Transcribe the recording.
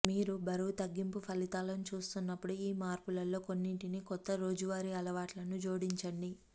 మీరు బరువు తగ్గింపు ఫలితాలను చూస్తున్నప్పుడు ఈ మార్పులలో కొన్నింటిని కొత్త రోజువారీ అలవాట్లను జోడించండి